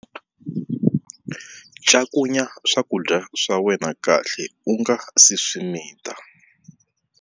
Cakunya swakudya swa wena kahle u nga si swi mita.